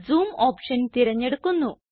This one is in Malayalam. ജൂം ഓപ്ഷൻ തിരഞ്ഞെടുക്കുന്നു